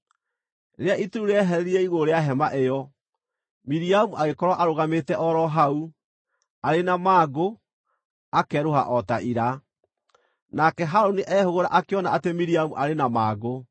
Rĩrĩa itu rĩu rĩeherire igũrũ rĩa Hema ĩyo, Miriamu agĩkorwo aarũgamĩte o ro hau, arĩ na mangũ, akerũha o ta ira. Nake Harũni ehũgũra akĩona atĩ Miriamu aarĩ na mangũ;